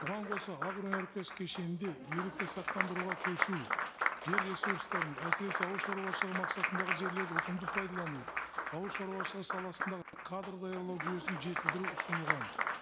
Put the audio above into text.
бұған қоса агроөнеркәсіп кешенінде ерікті сақтандыруға көшу жер ресурстарын әсіресе ауыл шаруашылығы мақсатындағы жерлерді ұтымды пайдалану ауыл шаруашылығы саласындағы кадр даярлау жүйесін жетілдіру ұсынылған